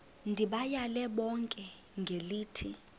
ndibayale bonke ngelithi